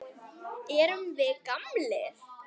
Erum við gamlir?